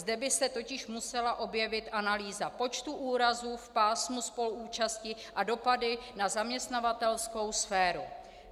zde by se totiž musela objevit analýza počtu úrazů v pásmu spoluúčasti a dopady na zaměstnavatelskou sféru.